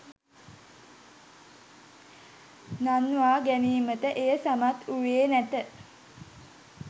නංවා ගැනීමට එය සමත් වූයේ නැත